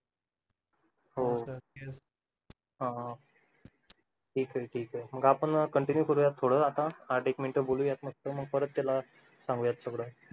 हो हा ठीक आहे ठीक आहे मग आपण continue करूया थोडं आता आठ एक मिनिटं बोलूयात मस्त मग त्याला सांगूयात सगळं